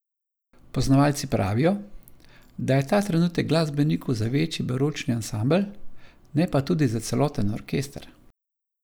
Poznavalci pravijo, da je ta trenutek glasbenikov za večji baročni ansambel, ne pa tudi za celoten orkester.